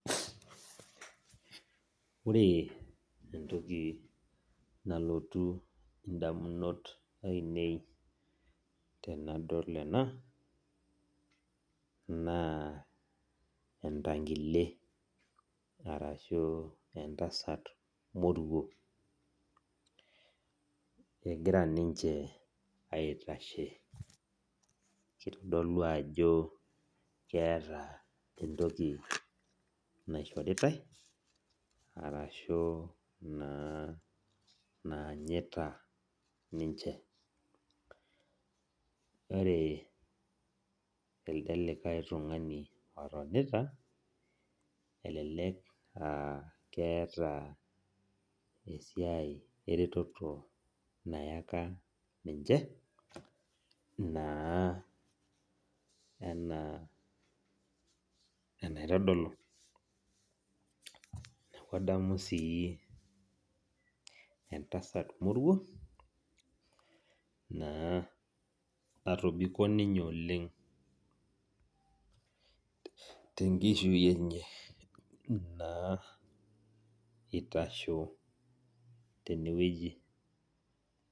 Ore entoki nalotu indamunot ainei tenadol ena, naa entankile arashu entasat moruo. Egira ninche aitashe. Kitodolu ajo keeta entoki naishoritai, arashu naa naanyita ninche. Ore elde likae tung'ani otonita, elelek ah keeta esiai ereteto nayaka ninche, naa enaa enaitodolu. Neeku adamu si entasat moruo, naa natobiko ninye oleng tenkishui enye, naa itasho tenewueji.